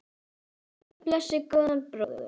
Guð blessi góðan bróður!